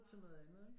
Til noget andet ikke